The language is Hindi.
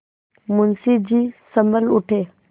मुंशी जी सँभल उठे